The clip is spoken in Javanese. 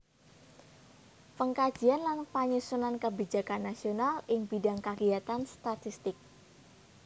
Pengkajian lan panyusunan kebijakan nasional ing bidhang kagiyatan statistik